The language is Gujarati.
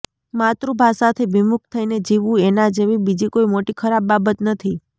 માતૃભાષાથી વિમુખ થઈને જીવવું એના જેવી બીજી કોઈ મોટી ખરાબ બાબત નથી